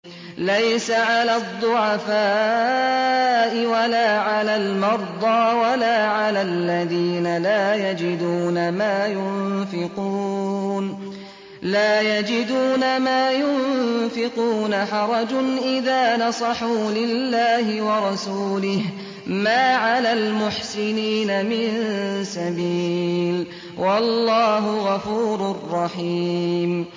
لَّيْسَ عَلَى الضُّعَفَاءِ وَلَا عَلَى الْمَرْضَىٰ وَلَا عَلَى الَّذِينَ لَا يَجِدُونَ مَا يُنفِقُونَ حَرَجٌ إِذَا نَصَحُوا لِلَّهِ وَرَسُولِهِ ۚ مَا عَلَى الْمُحْسِنِينَ مِن سَبِيلٍ ۚ وَاللَّهُ غَفُورٌ رَّحِيمٌ